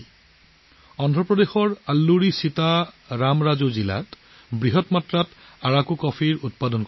অন্ধ্ৰপ্ৰদেশৰ আলি সীতা ৰাম ৰাজু জিলাত আৰাকু কফি বৃহৎ পৰিমাণে উৎপাদন কৰা হয়